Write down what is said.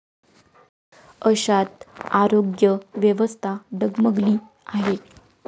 अशात आरोग्य व्यवस्था डगमगली आहे.